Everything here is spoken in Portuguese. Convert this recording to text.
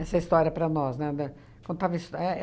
história para nós, né, da... Contava histo é